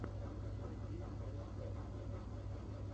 найти руссфегг